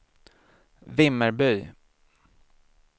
Vimmerby